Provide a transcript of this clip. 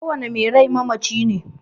kowane mai rai mamaci ne.